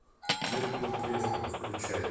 зеркало треснуло включай